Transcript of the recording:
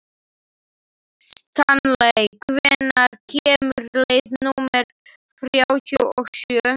Stanley, hvenær kemur leið númer þrjátíu og sjö?